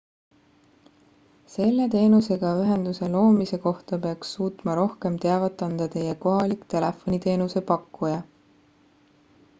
selle teenusega ühenduse loomise kohta peaks suutma rohkem teavet anda teie kohalik telefoniteenuse pakkuja